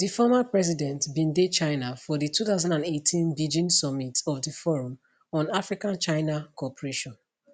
di former president bin dey china for di 2018 beijing summit of di forum on africachina cooperation